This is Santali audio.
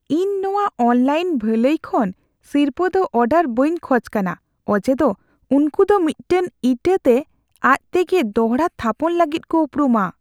ᱤᱧ ᱱᱚᱶᱟ ᱚᱱᱞᱟᱭᱤᱱ ᱵᱷᱟᱹᱞᱟᱹᱭ ᱠᱷᱚᱱ ᱥᱤᱨᱯᱟᱹ ᱫᱚ ᱚᱨᱰᱟᱨ ᱵᱟᱹᱧ ᱠᱷᱚᱡ ᱠᱟᱱᱟ ᱚᱡᱮᱫᱚ ᱩᱱᱠᱩ ᱫᱚ ᱢᱤᱫᱴᱟᱝ ᱤᱴᱟᱹᱛᱮ ᱟᱡᱛᱮᱜᱮ ᱫᱚᱲᱦᱟ ᱛᱷᱟᱯᱚᱱ ᱞᱟᱹᱜᱤᱫ ᱠᱚ ᱩᱯᱨᱩᱢᱟ ᱾